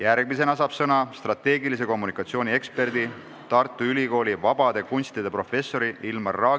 Seejärel saab sõna strateegilise kommunikatsiooni ekspert, Tartu Ülikooli vabade kunstide professor Ilmar Raag.